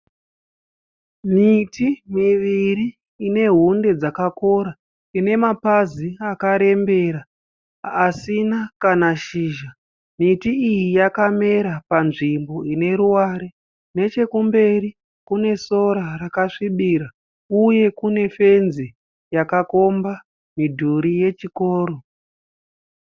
Miti miviri ine hunde dzakakora. Ine mapazi akarembera asina kana shizha. Miti iyi yakamera panzvimbo ine ruware. Nechekumberi kune sora rakasvibira . Uye kune fenzi yakakomba midhurii yechikoro.